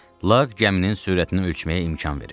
Laq gəminin sürətini ölçməyə imkan verir.